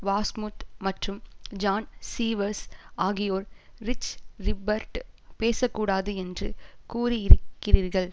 Wasmuth மற்றும் John Sievers ஆகியோர் Rich Rippert பேசக்கூடாது என்று கூறியிருக்கிறீர்கள்